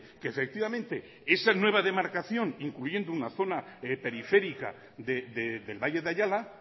que efectivamente esa nueva demarcación incluyendo una zona periférica del valle de ayala